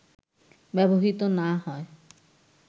ব্যবহৃত না হয়